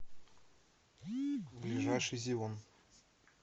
ближайший зеон